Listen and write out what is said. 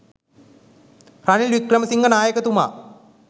Ranil Wickremesinghe නායකතුමා